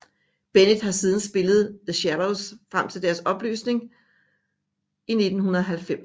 Bennett har siden spillet med The Shadows frem til deres opløsning i 1990